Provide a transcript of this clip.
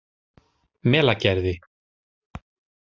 Melagerði